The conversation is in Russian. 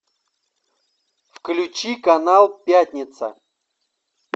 включи канал пятница